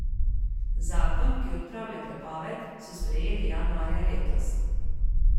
Zakon, ki odpravlja prepoved, so sprejeli januarja letos.